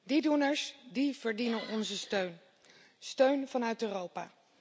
Die doeners, die verdienen onze steun, steun vanuit Europa.